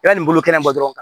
I bɛ nin bolo kɛnɛma dɔrɔn